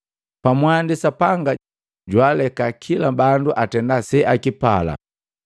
Pamwandi Sapanga jwaaleka kila bandu atenda seakipala.